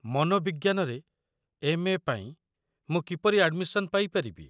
ମନୋବିଜ୍ଞାନରେ M A. ପାଇଁ ମୁଁ କିପରି ଆଡମିସନ୍ ପାଇପାରିବି?